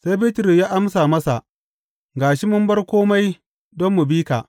Sai Bitrus ya amsa masa, Ga shi mun bar kome don mu bi ka!